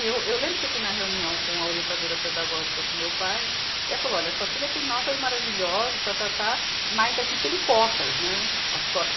E eu, eu lembro que eu fui na reunião com a orientadora pedagógica, com meu pai, e ela falou, olha, sua filha tem notas maravilhosas, tá, tá, tá, mas aqui tem cotas, né?